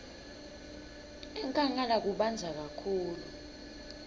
enkhangala kubandza kakhulu